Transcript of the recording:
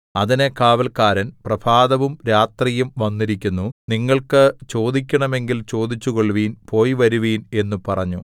അതിന് കാവല്ക്കാരൻ പ്രഭാതവും രാത്രിയും വന്നിരിക്കുന്നു നിങ്ങൾക്ക് ചോദിക്കണമെങ്കിൽ ചോദിച്ചു കൊള്ളുവിൻ പോയി വരുവിൻ എന്നു പറഞ്ഞു